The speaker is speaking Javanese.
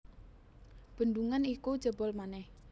Bendungan iku jebol manèh